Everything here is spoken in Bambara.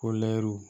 Ko